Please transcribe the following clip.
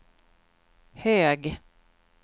hög